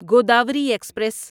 Godavari express